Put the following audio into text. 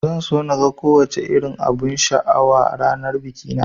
Zan so naga ko wace irin abun sha a ranar bikina